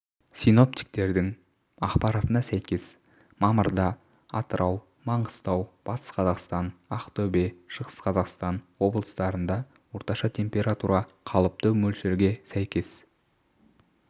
синоптиктердің ақпаратына сәйкес мамырда атырау маңғыстау батыс қазақстан ақтөбе шығыс қазақстан облыстарында орташа температура қалыпты мөлшергесәйкес